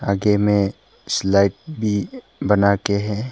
आगे में स्लाइड भी बना के है।